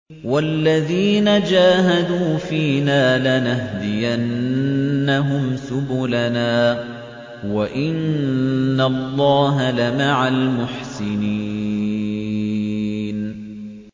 وَالَّذِينَ جَاهَدُوا فِينَا لَنَهْدِيَنَّهُمْ سُبُلَنَا ۚ وَإِنَّ اللَّهَ لَمَعَ الْمُحْسِنِينَ